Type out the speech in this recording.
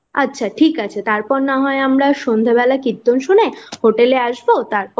আচ্ছা ঠিক আছে তারপর না হয় আমরা সন্ধ্যেবেলা কীর্তন শুনে হোটেল এ এসব তারপর